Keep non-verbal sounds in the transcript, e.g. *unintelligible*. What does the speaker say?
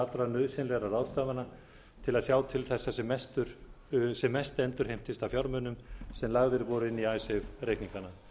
allra nauðsynlegra ráðstafana til að sjá til þess að sem mest endurheimtist af fjármunum sem lagðir voru inn á *unintelligible* reikningana